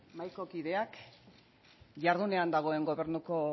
mahaiko kideak jardunean dagoen gobernuko